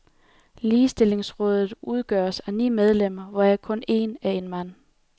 Ligestillingsrådet udgøres af ni medlemmer, hvoraf kun én er en mand.